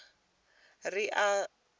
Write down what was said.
ri a tshi dzama ha